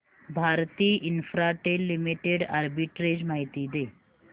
Bharti Infratel limited arbitrage माहिती दे